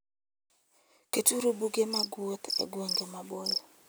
Keturu buge mag wuoth e gwenge maboyo.